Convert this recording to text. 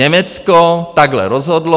Německo takhle rozhodlo.